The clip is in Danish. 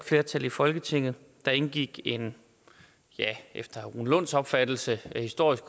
flertal i folketinget der indgik en efter herre rune lunds opfattelse historisk